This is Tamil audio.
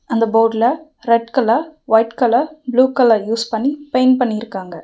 அந்த போட்ல red colour white colour blue colour use பண்ணி பெயிண்ட் பண்ணிருக்காங்க.